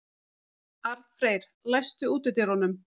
Arnfreyr, læstu útidyrunum.